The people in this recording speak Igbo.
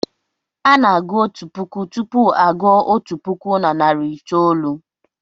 Ana-agụ otu puku tupu a gụọ otu puku na narị itoolu.